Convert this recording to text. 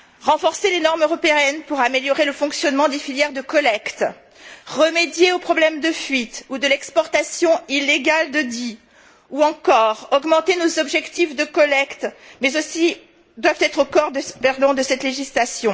Renforcer les normes européennes pour améliorer le fonctionnement des filières de collecte, remédier aux problèmes de fuite ou de l'exportation illégale de DEEE, ou encore augmenter nos objectifs de collecte voilà qui doit être au cœur de cette législation.